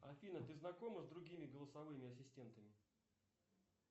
афина ты знакома с другими голосовыми ассистентами